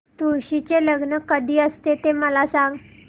तुळशी चे लग्न कधी असते ते मला सांग